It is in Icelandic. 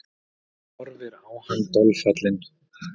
Horfir á hann dolfallin.